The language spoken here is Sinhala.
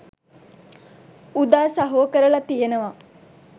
උදා සහෝ කරලා තියෙනවා.